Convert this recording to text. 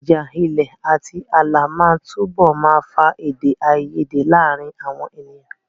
Ìjà ilẹ̀ àti ààlà máa túbọ̀ máa fa èdè àìyedè láàárín àwọn ènìyàn.